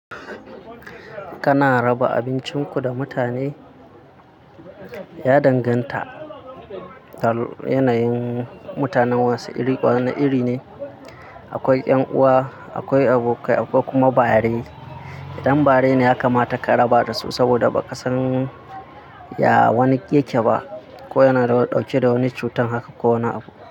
Kana raba abincinku da mutane? Ya danganta, da yanayin mutanen wasu iri wani iri ne. Akwai 'yan'uwa, akwai abokai, akwai kuma bare. Idan bare ne ya kamata ka raba da su, saboda ba ka san ya wani yake ba, ko yana dauke da wani cutar haka ko wani abu.